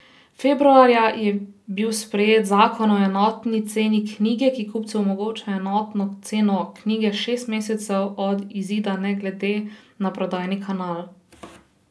Februarja je bil sprejet zakon o enotni ceni knjige, ki kupcu omogoča enotno ceno knjige šest mesecev od izida ne glede na prodajni kanal.